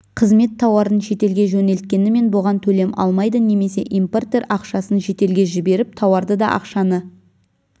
қызмет тауарын шетелге жөнелткенімен бұған төлем алмайды немесе импортер ақшасын шетелге жіберіп тауарды да ақшаны